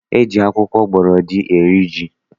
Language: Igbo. E ji akwụkwọ gbọrọdị eri ji